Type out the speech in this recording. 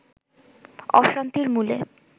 অশান্তির মূলে